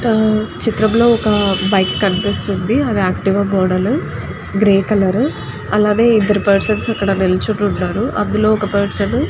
హా చిత్రంలో వక బైక్ కనిపెస్తునది. అది అచ్తివ గోడలు గ్రీయ్ కలర్ అండ్ అక్కడ ఇదరు నిలోచొని ఉనారు. హ అక్కడ అదులో వక పర్సన్ --